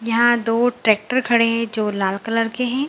यहां दो ट्रेक्टर खड़े है जो लाल कलर के है।